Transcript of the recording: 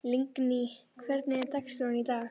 Lingný, hvernig er dagskráin í dag?